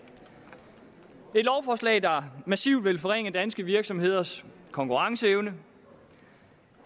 der massivt vil forringe danske virksomheders konkurrenceevne